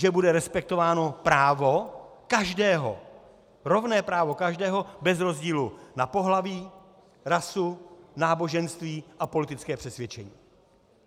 Že bude respektováno právo každého, rovné právo každého bez rozdílu na pohlaví, rasu, náboženství a politické přesvědčení.